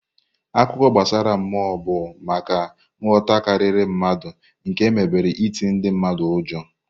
Akụkọ gbasara mmụọ bụ maka nhụta karịrị mmadụ nke emebere iti ndị mmadụ ụjọ.